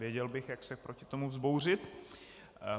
Věděl bych, jak se proti tomu vzbouřit.